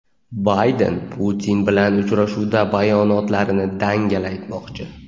Bayden Putin bilan uchrashuvda bayonotlarini dangal aytmoqchi.